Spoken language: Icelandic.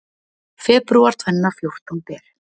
Febrúar tvenna fjórtán ber